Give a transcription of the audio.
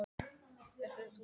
Ert þú sitjandi?